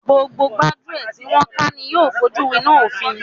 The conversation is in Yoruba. Gbogbo gbájúẹ̀ tí wọn ká ni yóò fojú wináa òfin.